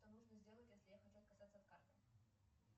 что нужно сделать если я хочу отказаться от карты